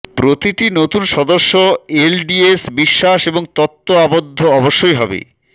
প্রতিটি নতুন সদস্য এলডিএস বিশ্বাস এবং তত্ত্ব আবদ্ধ অবশ্যই হবে